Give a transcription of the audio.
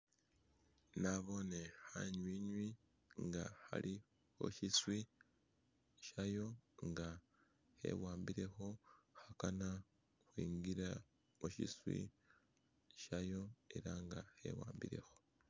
Nabone khanywinywi nga khali musyiswi shayo nga khewambile khundulo khakana khwingila musyiswi shayo ela nga khewambilekho.